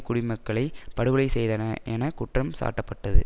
குடிமக்களை படுகொலை செய்தன என குற்றம் சாட்டப்பட்டது